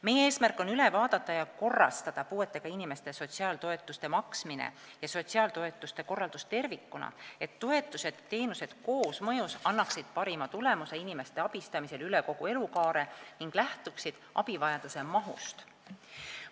Meie eesmärk on üle vaadata ja korrastada puudega inimestele sotsiaaltoetuste maksmine ja nende sotsiaaltoetuste korraldus tervikuna, et toetused ja teenused koosmõjus annaksid parima tulemuse inimeste abistamisel kogu elukaare jooksul ning lähtuksid abivajaduse mahust.